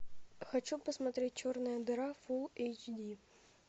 хочу посмотреть черная дыра фулл эйч ди